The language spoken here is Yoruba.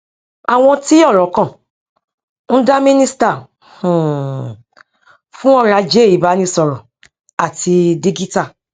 àwọn tí ọrọ kàn ń dá mínísítà um fún ọrọ ajé ìbánisọrọ àti dígítà